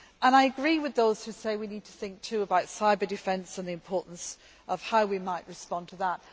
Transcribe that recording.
I agree with those who say we also need to think about cyber defence and the importance of how we might respond to that.